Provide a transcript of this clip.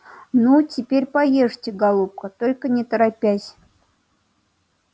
ну теперь поешьте голубка только не торопясь